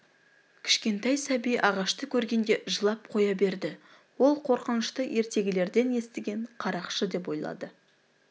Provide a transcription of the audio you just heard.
кішкентай сәби ағашты көргенде жылап қоя берді ол қорқышынты ертегілерден естіген қарақшы деп ойлады